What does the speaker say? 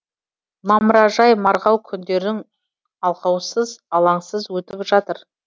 мамыражай марғау күндерің алғаусыз алаңсыз өтіп жатыр